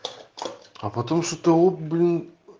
а потом что-то о блин